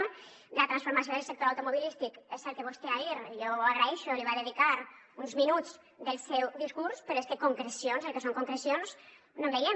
de la transformació del sector automobilístic és cert que vostè ahir i jo ho agraeixo li va dedicar uns minuts del seu discurs però és que concrecions el que són concrecions no en veiem